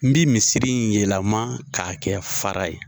N bi misiri in yɛlɛma k'a kɛ fara ye